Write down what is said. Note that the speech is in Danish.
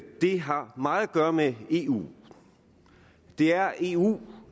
det har meget at gøre med eu det er eu